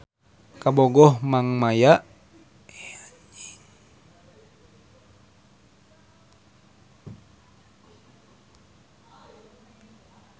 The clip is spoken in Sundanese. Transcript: Kabogoh Neng Maya mah kuliahna di ITB